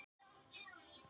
Björgun skipverja lokið